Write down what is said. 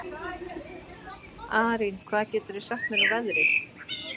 Arín, hvað geturðu sagt mér um veðrið?